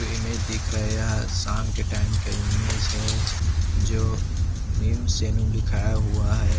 Image दिख रहा है यह शाम के टाइम का इमेज है जो नीम सैलून लिखाया हुआ हैं।